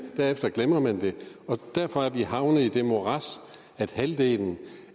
derefter glemmer man det og derfor er vi havnet i det morads at halvdelen